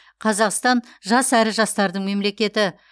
қазақстан жас әрі жастардың мемлекеті